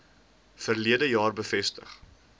verlede jaar bevestig